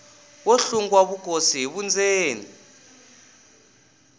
wo hlungwa vukosi hi vundzeni